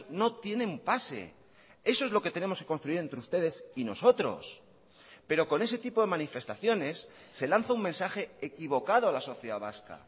no tienen pase eso es lo que tenemos que construir entre ustedes y nosotros pero con ese tipo de manifestaciones se lanza un mensaje equivocado a la sociedad vasca